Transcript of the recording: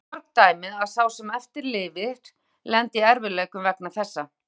Þess eru mörg dæmi að sá sem eftir lifir lendi í erfiðleikum vegna þessa.